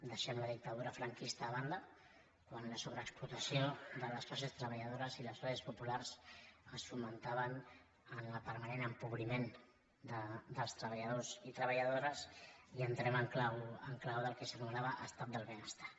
deixem la dictadura franquista de banda quan la sobreexplotació de les classes treballadores i les classes populars es fonamentava en el permanent empobriment dels treballadors i treballadores i entrem en clau del que s’anomenava estat del benestar